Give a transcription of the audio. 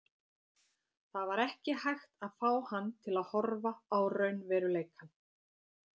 Það var ekki hægt að fá hann til að horfa á raunveruleikann.